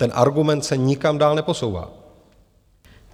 Ten argument se nikam dál neposouvá.